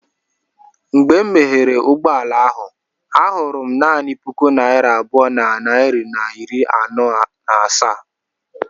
Mgbe m meghere ụgbọ ala ahụ, ahụrụ m naanị puku naira abụọ na narị na iri anọ na asaa.